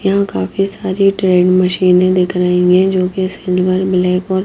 यहां काफी सारी ट्रेंड मशीनें दिख रही है जो कि सिल्वर ब्लैक और--